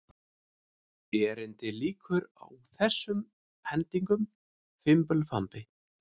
Erindinu lýkur á þessum hendingum: Fimbulfambi